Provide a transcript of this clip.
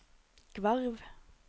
Gvarv